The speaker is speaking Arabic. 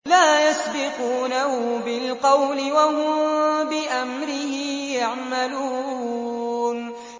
لَا يَسْبِقُونَهُ بِالْقَوْلِ وَهُم بِأَمْرِهِ يَعْمَلُونَ